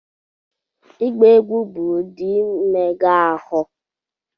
Ịgba egwu bụ ụdị mmega ahụ